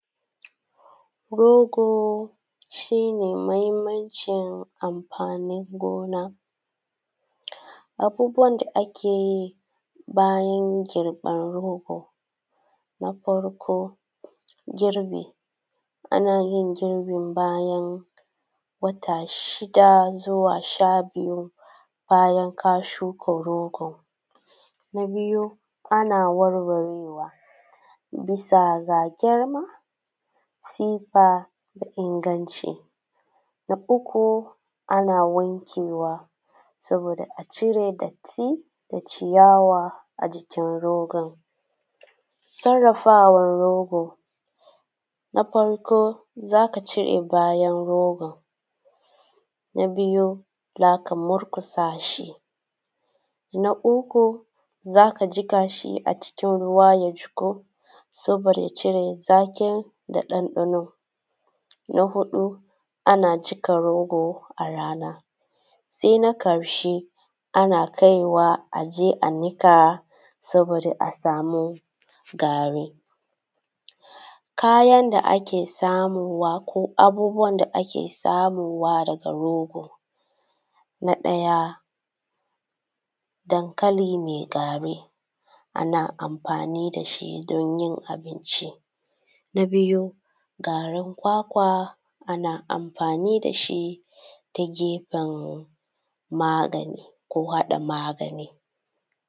Rogo shi ne muhimmancin amfanin gona. Abubuwan da ake yi bayan girban rogo:: Na farko, girbi, ana yin girbin bayan wata shida zuwa sha biyu bayan ka shuka rogo. Na biyu, ana warwarewa, bisa ga girma, sifa, inganci. Na uku, ana wankewa saboda a cire datti da ciyawa a jikin rogon. Sarrafawan rogo: na farko, za ka cire bayan rogon, na biyu za ka murƙusa shi, na uku, za ka jiƙa shi a cikin ruwa ya jiƙu saboda cire zaƙin da ɗanɗano, na huɗu ana jiƙa rogo a rana, sai na ƙarshe ana kaiwa a niƙa saboda a samu gari. Kayan da ake samowa ko abubuwan da ake samowa daga rogo: na ɗaya dankali mai gari, ana amfani da shi don yin abinci, na biyu garin kwakwa, ana amfani da shi ta gefen magani ko haɗa magani.